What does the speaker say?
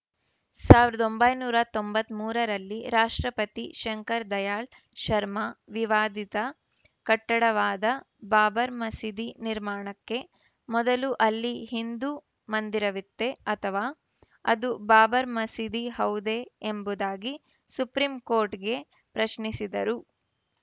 ಸಾವಿರದ ಒಂಬೈನೂರ ತೊಂಬತ್ತ್ ಮೂರರಲ್ಲಿ ರಾಷ್ಟ್ರಪತಿ ಶಂಕರ ದಯಾಳ್‌ ಶರ್ಮ ವಿವಾದಿತ ಕಟ್ಟಡವಾದ ಬಾಬರ್ ಮದೀಸಿ ನಿರ್ಮಾಣಕ್ಕೆ ಮೊದಲು ಅಲ್ಲಿ ಹಿಂದು ಮಂದಿರವಿತ್ತೇ ಅಥವಾ ಅದು ಬಾಬರ್ ಮಸೀದಿ ಹೌದೇ ಎಂಬುದಾಗಿ ಸುಪ್ರೀಂ ಕೋರ್ಟ್ ಗೆ ಪ್ರಶ್ನಿಸಿದ್ದರು